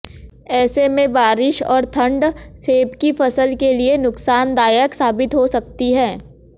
ऐसे में बारिश और ठंड सेब की फसल के लिए नुकसानदायक साबित हो सकती है